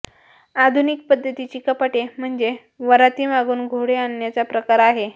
आधुनिक पद्धतीची कपाटे म्हणजे वरातीमागून घोडे आणण्याचा प्रकार आहे